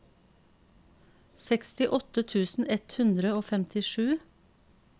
sekstiåtte tusen ett hundre og femtisju